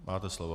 Máte slovo.